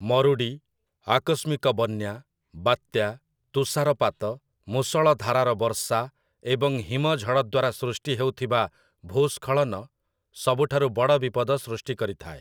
ମରୁଡ଼ି, ଆକସ୍ମିକ ବନ୍ୟା, ବାତ୍ୟା, ତୁଷାରପାତ, ମୁଷଳଧାରାର ବର୍ଷା ଏବଂ ହିମଝଡ଼ ଦ୍ୱାରା ସୃଷ୍ଟି ହେଉଥିବା ଭୂସ୍ଖଳନ ସବୁଠାରୁ ବଡ଼ ବିପଦ ସୃଷ୍ଟି କରିଥାଏ ।